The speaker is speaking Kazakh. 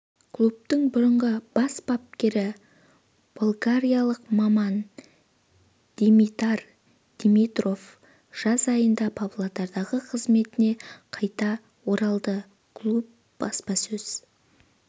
клубтың бұрынғы бас бапкері болгариялық маман димитар димитров жаз айында павлодардағы қызметіне қайта оралды клуб баспасөз